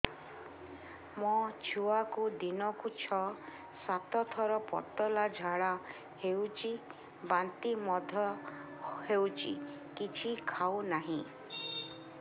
ମୋ ଛୁଆକୁ ଦିନକୁ ଛ ସାତ ଥର ପତଳା ଝାଡ଼ା ହେଉଛି ବାନ୍ତି ମଧ୍ୟ ହେଉଛି କିଛି ଖାଉ ନାହିଁ